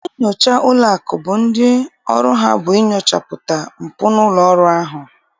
Ndị nnyocha ụlọakụ bụ ndị ọrụ ha bụ inyochapụta mpụ n'ụlọọrụ ahụ.